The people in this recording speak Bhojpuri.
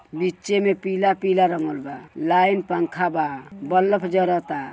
बीचे में पीला पीला रंगल बा। लाइन पंखा बा। बलफ जरता।